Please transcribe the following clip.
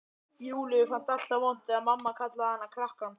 Júlíu fannst alltaf vont þegar mamma kallaði hana krakkann.